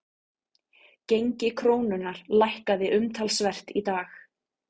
Gengi krónunnar lækkaði umtalsvert í dag